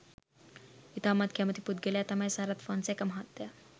ඉතාමත්ම කැමැති පුද්ගලයා තමයි සරත් ෆොන්සේකා මහත්තයා